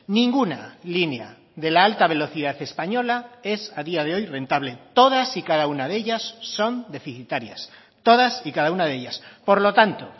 ninguna línea de la alta velocidad española es a día de hoy rentable todas y cada una de ellas son deficitarias todas y cada una de ellas por lo tanto